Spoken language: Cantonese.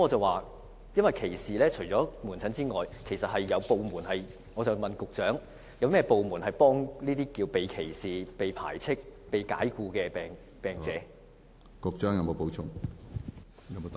我的問題是，除了提供門診服務外，請問局長，有甚麼部門可以向這些被歧視、被排斥、被解僱的病者提供協助？